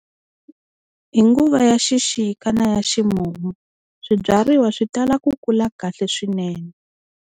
Hi nguva ya xixika na ya ximumu swibyariwa swi tala ku kula kahle swinene.